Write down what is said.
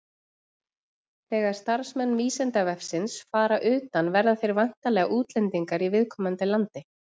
Þegar starfsmenn Vísindavefsins fara utan verða þeir væntanlega útlendingar í viðkomandi landi.